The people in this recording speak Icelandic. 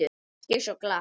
Ekki svo glatt.